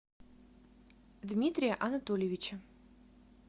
дмитрия анатольевича